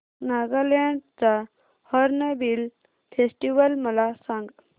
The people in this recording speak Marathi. नागालँड चा हॉर्नबिल फेस्टिवल मला सांग